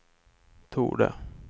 torde